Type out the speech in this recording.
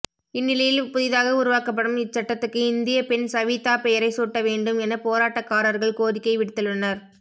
இந் நிலையில் புதிதாக உருவாக்கப்படும் இச்சட்டத்துக்கு இந்திய பெண் சவீதா பெயரை சூட்ட வேண்டும் என போராட்டக்காரர்கள் கோரிக்கை விடுத்துள்ளனர்